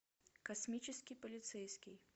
космический полицейский